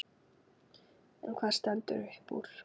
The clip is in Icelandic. En hvað stendur uppúr?